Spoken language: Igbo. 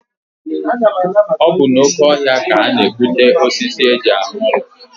Ọ bụ n'oke ọhịa ka a na-egbute osisi e ji arụ ụlọ.